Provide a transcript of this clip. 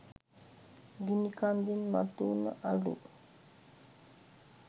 ගිනි කන්දෙන් මතු වුන අළු